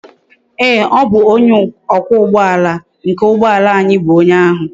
Ee o bu onye okwa ugboala nke ugboala anyi bu onye ahu